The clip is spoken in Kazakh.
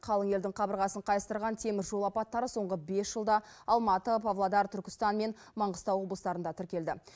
қалың елдің қабырғасын қайыстырған теміржол апаттары соңғы бес жылда алматы павлодар түркістан мен маңғыстау облыстарында тіркелді